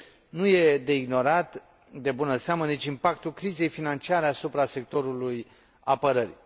Nu este de ignorat, de bună seamă, nici impactul crizei financiare asupra sectorului apărării.